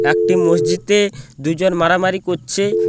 একটি মসজিদে দুজন মারামারি করছে।